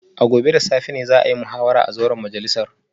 A gobe da safe ne za a yi muhawara a zauren majalisar